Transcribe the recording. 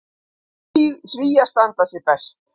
Svíar standi sig best.